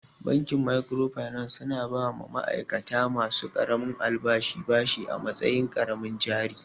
Bankin microfinance su na ba wa ma'aikata ma su ƙaramin albashi bashi a matsayin ƙaramin jari